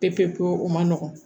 Pepewu o man nɔgɔn